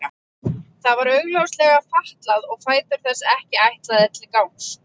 Það var augljóslega fatlað og fætur þess ekki ætlaðir til gangs.